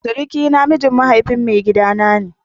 Suruki na miji mahaifin maigida na ne.